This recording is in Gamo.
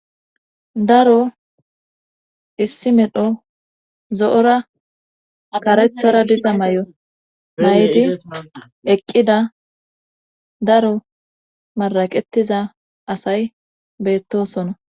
daro issi medho zo7ora akarethara diza may7o nayidi eqqida daro maraqetiza asay beettosona